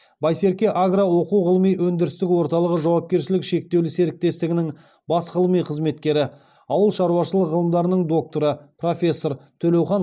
байсерке агро оқу ғылыми өндірістік орталығы жауапкершілігі шектеулі серіктестігінің бас ғылыми қызметкері ауыл шаруашылығы ғылымдарының докторы профессор төлеухан